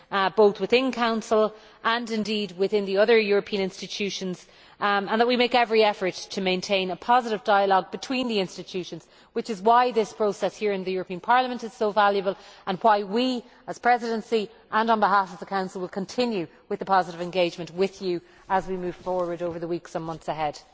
both within Council and within the other European institutions, and to make every effort to maintain positive dialogue between the institutions. This is why this process here in the European Parliament is so valuable and why we, as the Presidency and on behalf of the Council, will continue our positive engagement with you as we move forward over the weeks and months ahead.